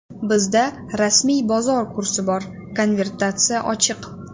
Bizda rasmiy bozor kursi bor, konvertatsiya ochiq.